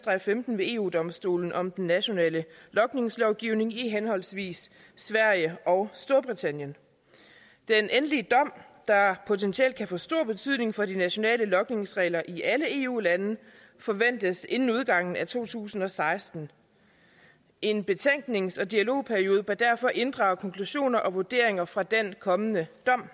og halvfems ved eu domstolen om den nationale logningslovgivning i henholdsvis sverige og storbritannien den endelige dom der potentielt kan få stor betydning for de nationale logningsregler i alle eu lande forventes inden udgangen af to tusind og seksten en betænknings og dialogperiode bør derfor inddrage konklusioner og vurderinger fra den kommende dom